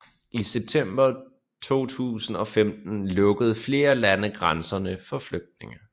I september 2015 lukkede flere lande grænserne for flygtninge